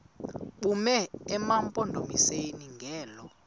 bume emampondomiseni ngelo